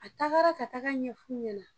A tagara ka taga ɲɛf'u ɲɛna